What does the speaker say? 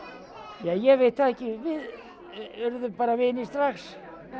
ja ég veit það ekki við urðum bara vinir strax